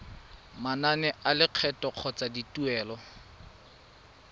manane a lekgetho kgotsa dituelo